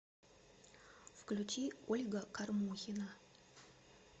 включи ольга кормухина